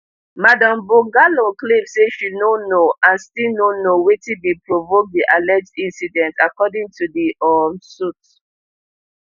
madam bongolan claim say she no know and still no know wetin bin provoke di alleged incident according to di um suit